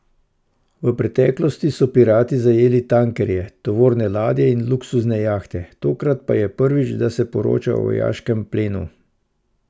V pretklosti so pirati zajeli tankerje, tovorne ladje in luksuzne jahte, tokrat pa je prvič, da se poroča o vojaškem plenu.